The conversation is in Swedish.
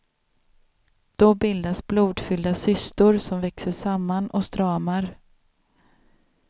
Då bildas blodfyllda cystor, som växer samman och stramar.